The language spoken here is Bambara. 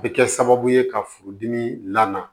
A bɛ kɛ sababu ye ka furudimi la